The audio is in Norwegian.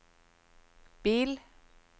bil